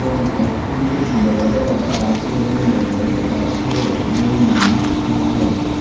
এবং একটি বলেরো রাখা আছে এবং বলেরোর পাশে একজন মানুষ দাঁড়িয়ে আচে।